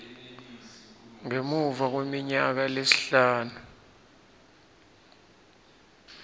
ngemuva kweminyaka lesihlanu